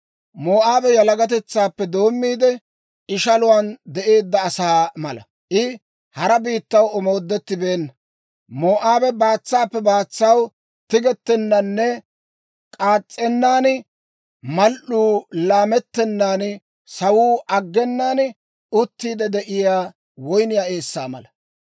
«Moo'aabe yalagatetsaappe doommiide, ishaluwaan de'eedda asaa mala; I hara biittaw omoodettibeenna. Moo'aabe baatsaappe baatsaw tigettennaaninne k'aas's'ennan, mal"uu laamettennaaninne sawuu aggenaan, uttiide de'iyaa woyniyaa eessaa mala.